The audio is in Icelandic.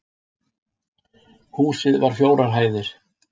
Húsið var fjórar hæðir